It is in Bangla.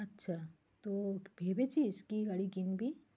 আচ্ছা, তো ভেবেছিস কি গাড়ি কিনবি?